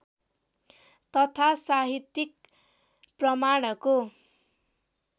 तथा साहित्यिक प्रमाणको